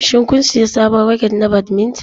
Shin kun sayi sabon raket na badminton?